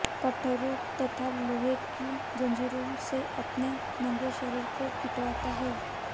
कटारों तथा लोहे की जंजीरों से अपने नंगे शरीर को पीटता है